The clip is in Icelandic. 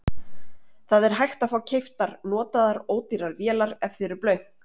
Það er hægt að fá keyptar notaðar ódýrar vélar ef þið eruð blönk.